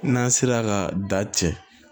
N'an sera ka da cɛ